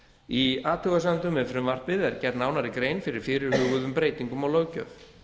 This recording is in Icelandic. í athugasemdum við frumvarpið er gerð nánari grein fyrir fyrirhuguðum breytingum á löggjöf